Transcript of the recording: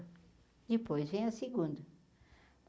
Depois vem a segunda.